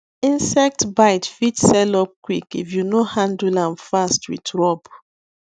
insect bite fit sell up quick if you no handle am fast with rub